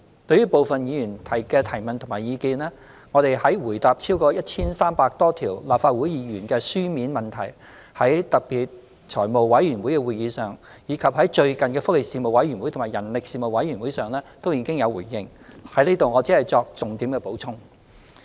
對於部分議員的提問與意見，我們在回答超過 1,300 多項由立法會議員提出的書面質詢，在財務委員會特別會議及最近的福利事務委員會及人力事務委員會會議上，均已作出回應，在這裏我只作重點補充。